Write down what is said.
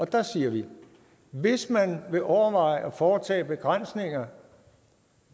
der siger vi hvis man vil overveje at foretage begrænsninger